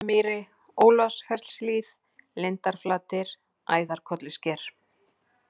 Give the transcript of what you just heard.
Torfumýri, Úlfarsfellshlíð, Lindarflatir, Æðarkollusker